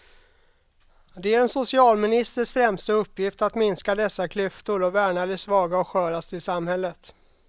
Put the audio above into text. Det är en socialministers främsta uppgift att minska dessa klyftor och värna de svaga och sköraste i samhället.